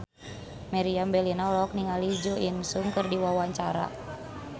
Meriam Bellina olohok ningali Jo In Sung keur diwawancara